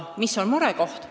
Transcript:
Mis on murekoht?